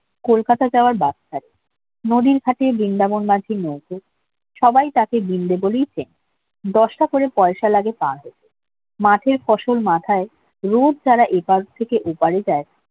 কলকাতা যাওয়ার নদীর ঘাটে বৃন্দাবন সবাই তাকে বৃন্দে বলেই চেনে করে পয়সা লাগে মাঠের ফসল মাথায় রোজ যারা এই পার থেকে ওপারে যায়